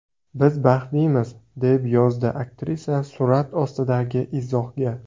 Biz baxtlimiz”, deb yozdi aktrisa surat ostidagi izohga.